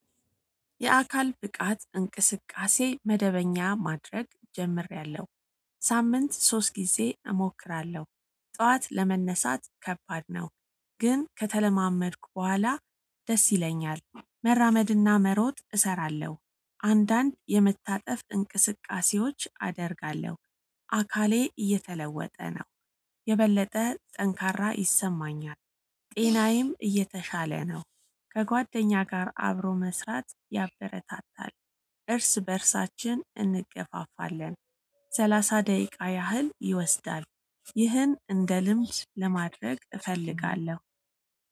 የአካል ብቃት እንቅስቃሴ መደበኛ ማድረግ ጀምሪያለሁ ሳምንት ሶስት ጊዜ እሞክራለሁ። ጠዋት ለመነሳት ከባድ ነው። ግን ከተለማመድኩ በኋላ። ደስ ይለኛል መራመድና መሮጥ እሰራለሁ። አንዳንድ የመታጠፍ እንቅስቃሴዎች አደርጋለሁ። አካሌ እየተለወጠ ነው። የበለጠ ጠንካራ ይሰማኛል። ጤናዬም እየተሻለ ነው። ከጓደኛ ጋር አብሮ መስራት ያበረታታል። እርስ በእርሳችን እንገፋፋለን። ሰላሳ ደቂቃ ያህል ይወስዳል። ይህን እንደ ልምድ ለማድረግ እፈልጋለሁ